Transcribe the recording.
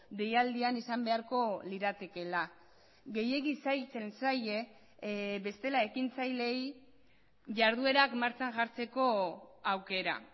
deialdian izan beharko liratekeela gehiegi zailtzen zaie bestela ekintzaileei jarduerak martxan jartzeko aukera